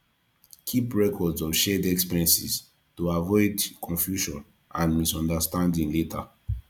keep records of shared expenses to avoid confusion and misunderstanding later